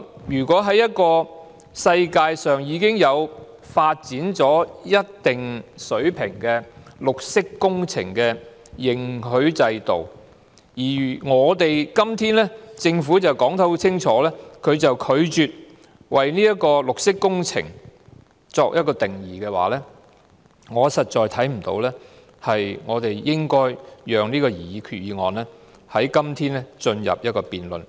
如果國際上已經有一套發展至一定水平的綠色工程認許制度，但政府卻明確拒絕為綠色工程下定義，我實在看不到應該繼續辯論這項擬議決議案，或進入審議階段。